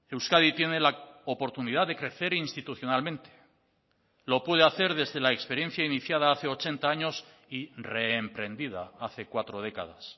euskadi tiene la oportunidad de crecer institucionalmente lo puede hacer desde la experiencia iniciada hace ochenta años y reemprendida hace cuatro décadas